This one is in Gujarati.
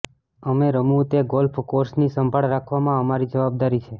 અમે રમવું તે ગોલ્ફ કોર્સની સંભાળ રાખવામાં અમારી જવાબદારી છે